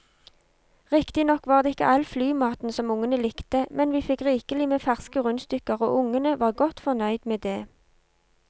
Riktignok var det ikke all flymaten som ungene likte, men vi fikk rikelig med ferske rundstykker og ungene var godt fornøyd med det.